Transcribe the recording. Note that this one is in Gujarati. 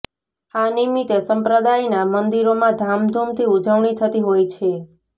આ નિમિત્તે સંપ્રદાયના મંદિરોમાં ધામધૂમથી ઉજવણી થતી હોય છે